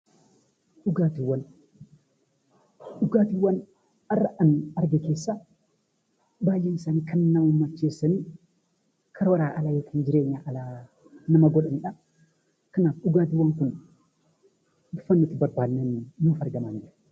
Dhugaatiiwwan har'a ani arge keessaa baay'een isaanii kan nama macheessanii, karooraa ala yookiin jireenyaa ala nama godhanidha. Kanaaf dhugaatiiwwan kun bifa nuti barbaanneen nuuf argamanidha.